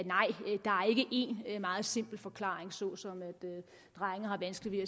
én meget simpel forklaring såsom at drenge har vanskeligt